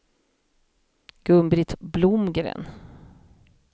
Gun-Britt Blomgren